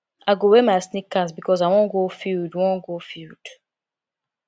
i go wear my sneakers because i wan go field wan go field